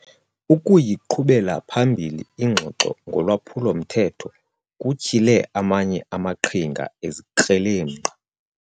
Ukuyiqhubela phambili ingxoxo ngolwaphulo-mthetho kutyhile amanye amaqhinga ezikrelemnqa.